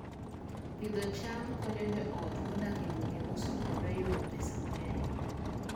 Pidho cham konyo joot modak e gwenge mosokore yudo pesa mang'eny